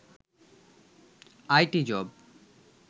IT job